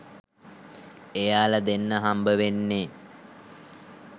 එයාල දෙන්නා හම්බවෙන්නේ